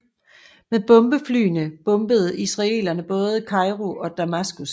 Med bombeflyene bombede israelerne både Kairo og Damaskus